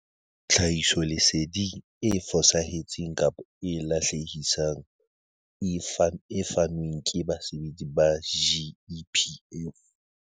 Tlhahisoleseding e fosahetseng kapa e lahlehisang e fanweng ke basebetsi ba GEPF.